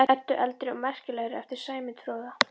Eddu eldri og merkilegri eftir Sæmund fróða.